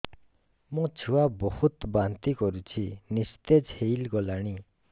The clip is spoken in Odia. ମୋ ଛୁଆ ବହୁତ୍ ବାନ୍ତି କରୁଛି ନିସ୍ତେଜ ହେଇ ଗଲାନି